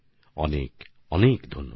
অনেক অনেক ধন্যবাদ